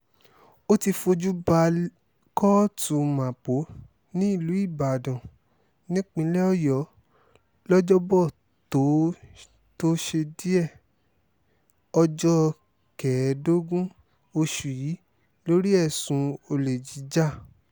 ó ti fojú bá kóòtù mapo nílùú ibalodàn nípínlẹ̀ ọ̀yọ́ lọ́jọ́bọ̀tò tósídéé ọjọ́ kẹẹ̀ẹ́dógún oṣù yìí lórí ẹ̀sùn olè jíjà